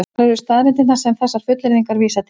Hvar eru staðreyndirnar sem þessar fullyrðingar vísa til?